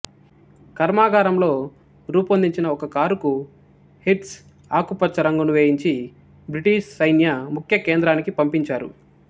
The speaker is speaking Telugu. కార్మాగారంలో రూపొందించిన ఒక కారుకు హిర్స్ట్ ఆకుపచ్చ రంగును వేయించి బ్రిటీషు సైన్య ముఖ్య కేంద్రానికి పంపించారు